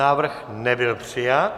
Návrh nebyl přijat.